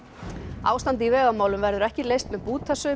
ástandið í vegamálum verður ekki leyst með bútasaumi